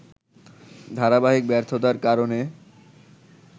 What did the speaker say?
ধারাবাহিক ব্যর্থতার কারণে